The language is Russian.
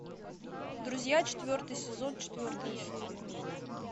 друзья четвертый сезон четвертая серия